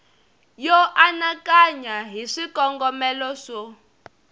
yo anakanya hi swikongomelo swo